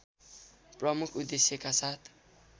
प्रमुख उद्देश्यका साथ